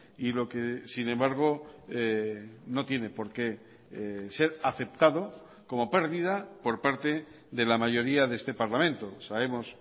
y lo que sin embargo no tiene por qué ser aceptado como pérdida por parte de la mayoría de este parlamento sabemos